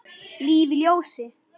Líf í ljósi.